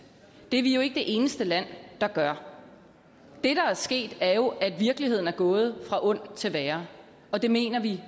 det er vi jo ikke det eneste land der gør det der er sket er jo at virkeligheden er gået fra ondt til værre og det mener vi